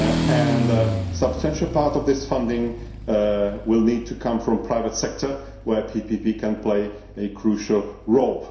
water. A substantial part of this funding will need to come from the private sector, where PPP can play a crucial